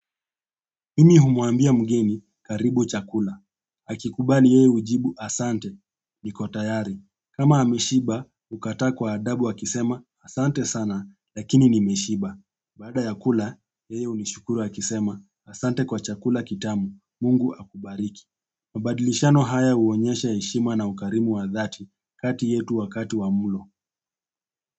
Mimi humwambia mgeni, karibu chakula. Akikubali, yeye hujibu asante, niko tayari. Kama ameshiba, hukataa kwa adabu akisema, asante sana, lakini nimeshiba. Baada ya kula, yeye hunishukuru akisema, asante kwa chakula kitamu. Mungu akubariki. Mabadilishano haya huonyesha heshima na ukarimu wa dhati kati yetu wakati wa mlo.